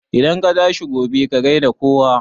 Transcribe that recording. Idan ka tashi gobe, ka gai da kowa